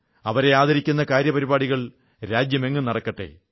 അവരെ ആദരിക്കുന്ന കാര്യപരിപാടികൾ രാജ്യമെങ്ങും നടക്കട്ടെ